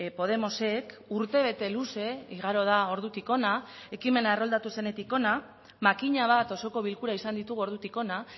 podemosek urtebete luze igaro da ordutik hona ekimena erroldatu zenetik hona makina bat osoko bilkura izan ditugu ordutik ona